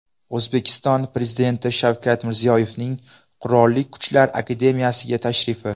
O‘zbekiston Prezidenti Shavkat Mirziyoyevning Qurolli Kuchlar akademiyasiga tashrifi .